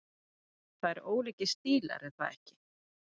Það eru ólíkir stílar er það ekki?